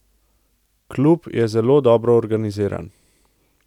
Klub je zelo dobro organiziran.